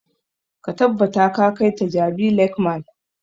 Ka tabbata ka kai ta jabi lake mall!